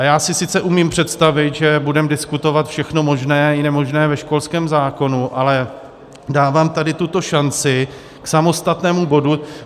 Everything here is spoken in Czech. A já si sice umím představit, že budeme diskutovat všechno možné i nemožné ve školském zákonu, ale dávám tady tuto šanci k samostatnému bodu.